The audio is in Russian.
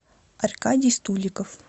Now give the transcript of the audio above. аркадий стуликов